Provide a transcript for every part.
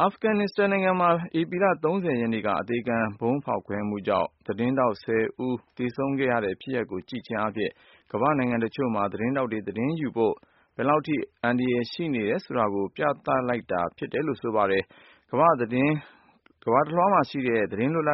အာဖဂန်နစ္စတန်နိုင်ငံမှာ ဧပြီလ ၃၀ ရက်နေ့က အသေခံဗုံး ဖောက်ခွဲမှုကြောင့် သတင်းထောက် ၁၀ ယောက် သေဆုံးခဲ့ရတဲ့ ဖြစ်ရပ်ကို ကြည့်ခြင်းအားဖြင့် ကမ္ဘာ့နိုင်ငံတချို့မှာ သတင်းယူဖို့ သတင်းထောက်တွေအတွက် ဘယ်လောက် အန္တရယ်ရှိတယ်ဆိုတာကို ပြသ လိုက်တာလည်း ဖြစ်ပါတယ်။ ကမ္ဘာ့တလွှား သတင်းလွတ်လ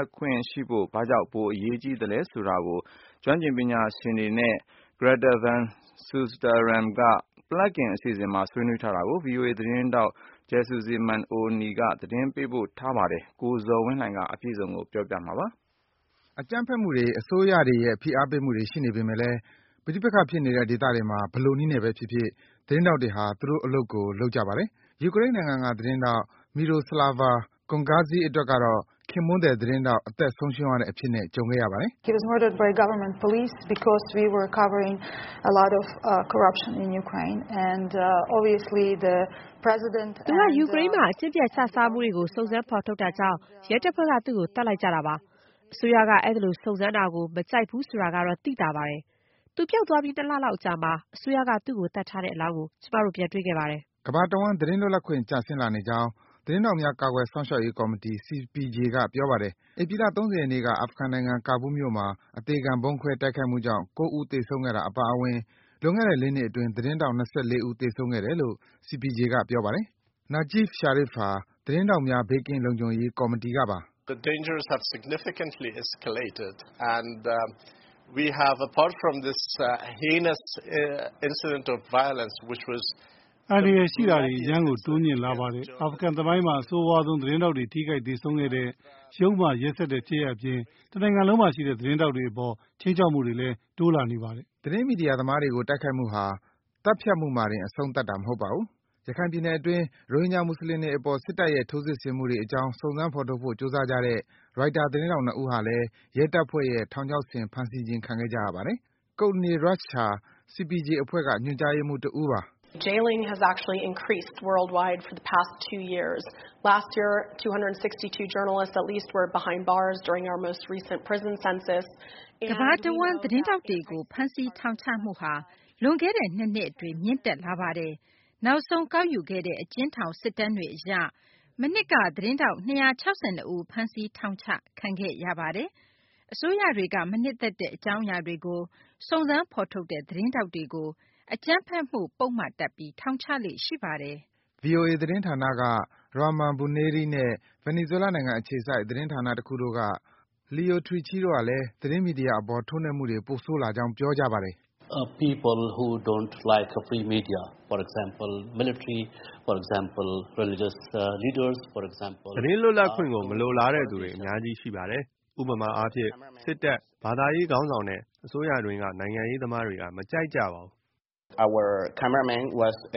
ပ်ခွင့်ရှိဖို့ ဘာကြောင့် ပိုအရေးပါသလဲဆိုတာကို ကျွမ်းကျင်သူ ပညာရှင်တွေနဲ့ Greta Van Susteren က Plugged In အစီအစဉ်မှာ ဆွေးနွေးထားတာကို ဗွီအိုအေ သတင်းထောက် Jesusemen Oni က သတင်းရေးသား ပေးပို့ထားပါတယ်။ ကိုဇော်ဝင်းလှိုင်က အပြည့်အစုံကို တင်ပြပေးပါမယ်။ အကြမ်းဖက်မှုတွေ၊ အစိုးရတွေရဲ့ ဖိအားပေးမှုတွေ ရှိနေပေမယ့်လည်း ပဋိပက္ခဖြစ်နေတဲ့ ဒေသတွေမှာ ဘယ်လိုနည်းနဲ့ဖြစ်ဖြစ် သတင်းထောက်တွေဟာ သူတို့အလုပ်ကို လုပ်ကြပါတယ်။ ယူကရိန်းနိုင်ငံက သတင်းထောက် Myroslava Gongadze အတွက်တော့ ခင်ပွန်းသည် သတင်းထောက် အသက်ဆုံးရှုံးရတဲ့အဖြစ်နဲ့ ကြုံခဲ့ရပါတယ်။ “သူက ယူကရိန်းမှာ အကျင့်ပျက်ခြစားမှုတွေကို စုံစမ်း ဖော်ထုတ်တာကြောင့် ရဲတပ်ဖွဲ့က သူ့ကို သတ်လိုက်ကြတာပါ။ အစိုးရက အဲဒီလို စုံစမ်းတာကို မကြိုဘူးဆိုတာကတော့ သိသာပါတယ်။ သူပျောက်သွားပြီး ၂ လလောက်ကြာမှ အစိုးရက သူ့ကို သတ်ထားတဲ့အလောင်းကို ကျမတို့ ပြန်တွေ့ခဲ့ပါတယ်။” ကမ္ဘာ့တဝှမ်း သတင်းလွတ်လပ်ခွင့် ကျဆင်းလာနေကြောင်း သတင်းထောက်များ ကာကွယ်စောင့်ရှောက်ရေးကော်မီတီ CPJ က ပြောပါတယ်။ ဧပြီလ ၃၀ ရက်နေ့က အာဖဂန်နိုင်ငံ၊ Kabul မြို့မှာ အသေခံဗုံးခွဲ တိုက်ခိုက်မှုကြောင့် ၉ ဦး သေဆုံးခဲ့တာ အပါအဝင် လွန်ခဲ့တဲ့ ၄ လအတွင်း သတင်းထောက် ၂၄ ဦး သေဆုံးခဲ့တယ်လို့ CPJ က ပြောပါတယ်။ Najib Sharif ဟာ သတင်းထောက်များ ဘေးကင်းလုံခြုံရေး ကော်မီတီကပါ။ “အန္တရာယ်ရှိမှုက အရမ်းကို တိုးမြင့်လာပါတယ်။ အာဖဂန်သမိုင်းမှာ အဆိုးရွားဆုံး သတင်းထောက်တွေ ထိခိုက်၊ သေဆုံးခဲ့တဲ့ ယုတ်မာ ရက်စက်တဲ့ ဖြစ်ရပ်အပြင် တနိုင်ငံလုံးမှာရှိတဲ့ သတင်းထောက်တွေအပေါ် ခြိမ်းချောက်မှုတွေ တိုးမြင့်လာနေပါတယ်။” သတင်းမီဒီယာသမားတွေကို တိုက်ခိုက်မှုဟာ သတ်ဖြတ်မှုမှာတင် အဆုံးသတ်တာ မဟုတ်ပါဘူး။ ရခိုင်ပြည်နယ်အတွင်း ရိုဟင်ဂျာ မွတ်ဆလင်တွေအပေါ် စစ်တပ်ရဲ့ ထိုးစစ်မှုတွေအကြောင်း စုံစမ်း ဖော်ထုတ်ဖို့ ကြိုးစားကြတဲ့ ရိုက်တာ သတင်းထောက် ၂ ဦးဟာလည်း ရဲတပ်ဖွဲ့ရဲ့ ထောင်ချောက်ဆင် ဖမ်းဆီးခြင်း ခံခဲ့ကြရပါတယ်။ Courtney Radsch ဟာ CPJ အဖွဲ့က ညွန်ကြားရေးမှူး တဦးပါ။ “ကမ္ဘာ့တဝှမ်း သတင်းထောက်တွေကို ဖမ်းဆီး ထောင်ချမှုဟာ လွန်ခဲ့တဲ့ ၂ နှစ်အတွင်း မြင့်တက်လာပါတယ်။ နောက်ဆုံး ကောက်ယူခဲ့တဲ့ အကျဉ်းထောင် စစ်တမ်းတွေအရ မနှစ်က သတင်းထောက် ၂၆၂ ဦး ဖမ်းဆီး ထောင်ချခဲ့ရပါတယ်။ အစိုးရတွေက မနှစ်သက်တဲ့ အကြောင်းအရာတွေကို စုံစမ်း ဖော်ထုတ်တဲ့ သတင်းထောက်တွေကို အကြမ်းဖက်မှု ပုဒ်မတပ်ပြီး ထောင်ချလေ့ရှိပါတယ်။” VOA Deewa ဌာနက Rahman Bunairee က / နဲ့ ဗင်နီဇွဲလားနိုင်ငံအခြေစိုက် သတင်းဌာနတခုက Leo Trechy တို့ကလည်း မီဒီယာအပေါ် ထိုးနှက်မှုတွေ ပိုဆိုးလာကြောင်း ပြောကြပါတယ်။ “သတင်းလွတ်လပ်ခွင့်ကို မလိုလားတဲ့သူတွေ အများကြီးရှိပါတယ်။ ဥပမာအားဖြင့်၊ စစ်တပ်၊ ဘာသာရေးခေါင်းဆောင်နဲ့ အစိုးရအတွင်းက နိုင်ငံရေးသမားတွေက မကြိုက်ကြပါဘူး။” “ကျနော်တ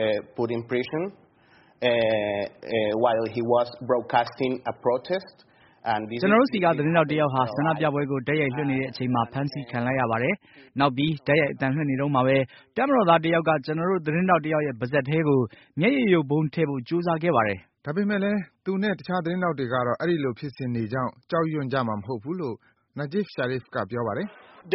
ို့ဆီက သတင်းထောက်တယောက်ဟာ ဆန္ဒပြပွဲကို တိုက်ရိုက်လွှင့်နေတဲ့အချိန်မှာ ဖမ်းဆီးခံလိုက်ရပါတယ်။ နောက်ပြီး တိုက်ရိုက် အသံလွှင့်နေတုန်းမှာဘဲ တပ်မတော်သား တယောက်က ကျနော်တို့ သတင်းထောက်တယောက်ရဲ့ ပါးစပ်ထဲကို မျက်ရည်ယိုဗုံးထဲ့ဖို့ ကြိုးစားခဲ့ပါတယ်။” ဒါပေမယ့်လည်း သူနဲ့ တခြား သတင်းထောက်တွေကတော့ အဲဒီလို ဖြစ်စဉ်တွေကြောင့် ကြောက်ရွံ့ကြမှာ မဟုတ်ဘူးလို့ Najib Sharif က ပြောပါတယ်။ “ဒ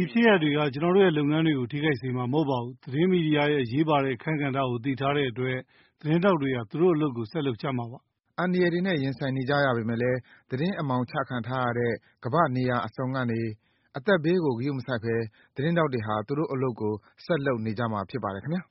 ီဖြစ်ရပ်တွေက ကျနော်တို့ရဲ့ လုပ်ငန်းတွေကို ထိခိုက်စေမှာ မဟုတ်ပါဘူး။ သတင်းမီဒီယာရဲ့ အရေးပါတဲ့ အခန်းကဏ္ဍကို သိထားတဲ့အတွက် သတင်းထောက်တွေဟာ သူတို့အလုပ်ကို ဆက်လုပ်ကြမှာပါ။” အန္တရာယ်တွေနဲ့ ရင်ဆိုင်နေကြရပေမယ့်လည်း သတင်းအမှောင်ချခံထားရတဲ့ ကမ္ဘာ့နေရာအစုံကနေ အသက်ဘေးကို ဂရုမစိုက်ဘဲ သတင်းထောက်တွေဟာ သူတို့အလုပ်ကို ဆက်လုပ်နေကြမှာ ဖြစ်ပါတယ် ခင်ဗျာ